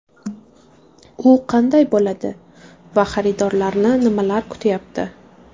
U qanday bo‘ladi va xaridorlarni nimalar kutayapti?